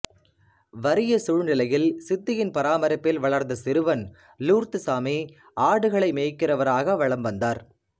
வறிய சூழ்நிலையில் சித்தியின் பராமரிப்பில் வளர்ந்த சிறுவன் லூர்துசாமி ஆடுகளை மேய்க்கிறவராக வலம் வந்தார்